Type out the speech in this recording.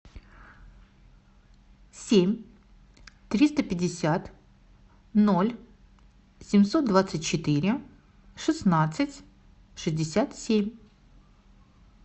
семь триста пятьдесят ноль семьсот двадцать четыре шестнадцать шестьдесят семь